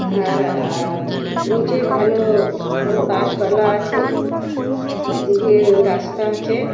আর আ- নিচে ভালো-ও ও গাছপালা আছে এদিকে রাস্তা আছে-এ ।